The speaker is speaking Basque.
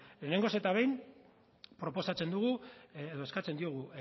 lehenengo eta behin proposatzen dugu edo eskatzen diogu